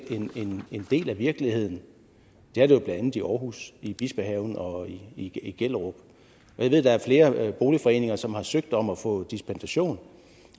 en del af virkeligheden det er det jo blandt andet i aarhus i bispehaven og i i gellerup og jeg ved der er flere boligforeninger som har søgt om at få dispensation